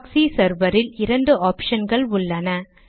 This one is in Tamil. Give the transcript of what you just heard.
ப்ராக்ஸி செர்வரில் இரண்டு ஆப்ஷன்கள் உள்ளன